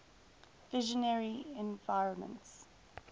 visionary environments